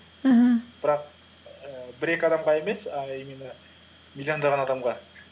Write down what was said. аха бірақ ііі бір екі адамға емес а именно миллиондаған адамға